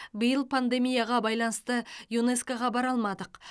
биыл пандемияға байланысты юнеско ға бара алмадық